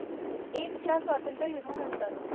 एकच्या स्वतांत्र युध्दा नंतर